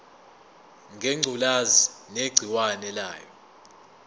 ngengculazi negciwane layo